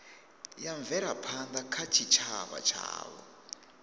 ya mvelaphanda kha tshitshavha tshavho